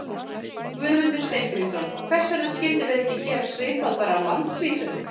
Guðmundur Steingrímsson: Hvers vegna skildum við ekki gera svipað bara á landsvísu?